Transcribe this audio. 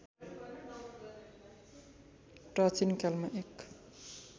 प्राचीनकालमा एक